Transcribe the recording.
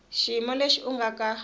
xiyimo lexi u nga ka